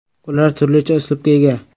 Ular turlicha uslubga ega.